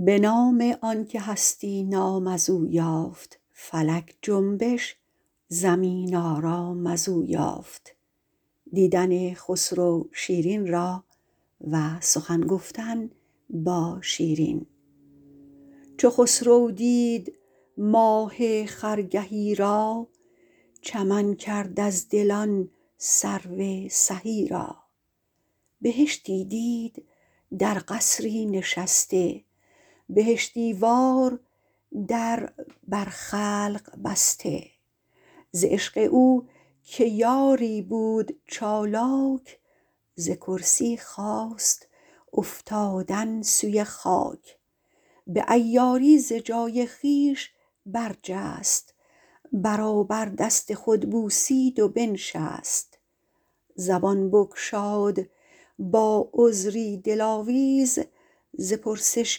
چو خسرو دید ماه خرگهی را چمن کرد از دل آن سرو سهی را بهشتی دید در قصری نشسته بهشتی وار در بر خلق بسته ز عشق او که یاری بود چالاک ز کرسی خواست افتادن سوی خاک به عیاری ز جای خویش برجست برابر دست خود بوسید و بنشست زبان بگشاد با عذری دل آویز ز پرسش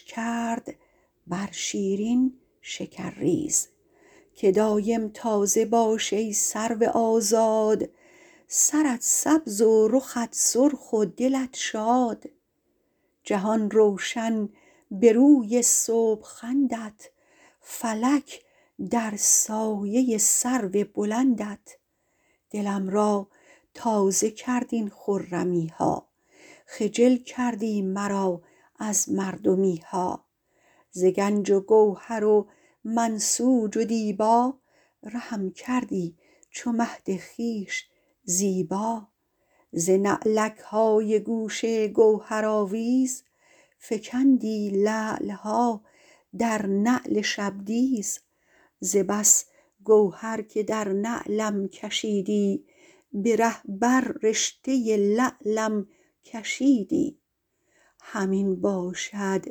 کرد بر شیرین شکرریز که دایم تازه باش ای سرو آزاد سرت سبز و رخت سرخ و دلت شاد جهان روشن به روی صبح خندت فلک در سایه سرو بلندت دلم را تازه کرد این خرمی ها خجل کردی مرا از مردمی ها ز گنج و گوهر و منسوج و دیبا رهم کردی چو مهد خویش زیبا ز نعلک های گوش گوهرآویز فکندی لعل ها در نعل شبدیز ز بس گوهر که در نعلم کشیدی به رخ بر رشته لعلم کشیدی همین باشد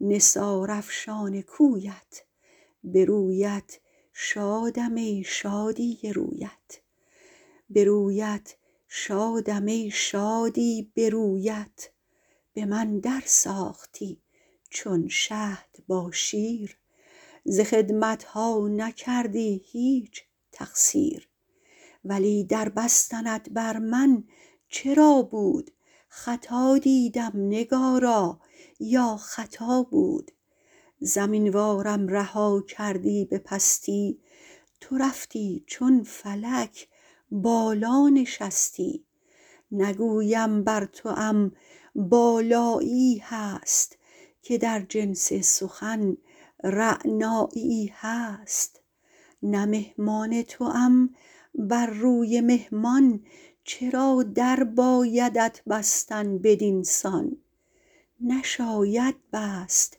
نثار افشان کویت به رویت شادم ای شادی به رویت به من درساختی چون شهد با شیر ز خدمت ها نکردی هیچ تقصیر ولی در بستنت بر من چرا بود خطا دیدم نگارا یا خطا بود زمین وارم رها کردی به پستی تو رفتی چون فلک بالا نشستی نگویم بر توام بالایی ای هست که در جنس سخن رعنایی ای هست نه مهمان توام بر روی مهمان چرا در بایدت بستن بدین سان نشاید بست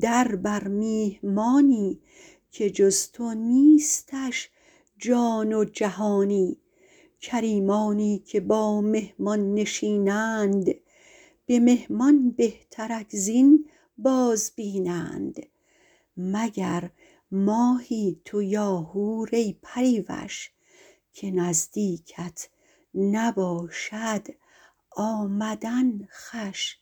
در بر میهمانی که جز تو نیستش جان و جهانی کریمانی که با مهمان نشینند به مهمان بهترک زین باز بینند مگر ماهی تو یا حور ای پری وش که نزدیکت نباشد آمدن خوش